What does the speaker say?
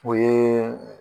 O ye